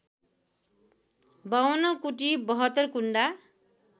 ५२ कुटी ७२ कुण्डा